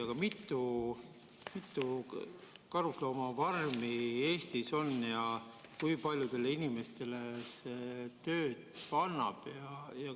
Aga mitu karusloomafarmi Eestis on ja kui paljudele inimestele see tööd annab?